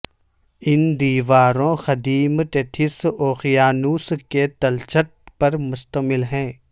ان دیواروں قدیم ٹیتھس اوقیانوس کے تلچھٹ پر مشتمل ہیں